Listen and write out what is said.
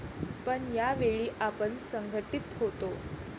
पण यावेळी आपण संघटीत होतो.